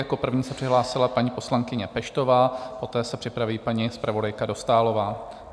Jako první se přihlásila paní poslankyně Peštová, poté se připraví paní zpravodajka Dostálová.